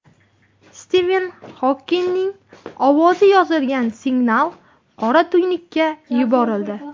Stiven Xokingning ovozi yozilgan signal qora tuynukka yuborildi.